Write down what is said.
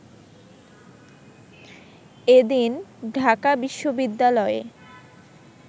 এদিন ঢাকা বিশ্ববিদ্যালয়ে